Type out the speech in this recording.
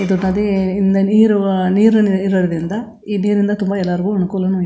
ಇದು ನದಿ ಇಂದ ನೀರು ನೀರು ಇರೋದ್ರಿಂದ ಈ ನೀರಿನಿಂದ ತುಂಬಾ ಎಲ್ಲರ್ಗೂ ಅನ್ಕೂಲನೂ --